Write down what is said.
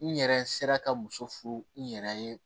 N yɛrɛ sera ka muso furu n yɛrɛ ye